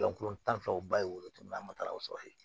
Yan kolon tan fɛn fɛn o ba ye wolotugu min na an ma taga o sɔrɔ yen